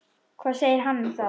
Hvað segir hann um það?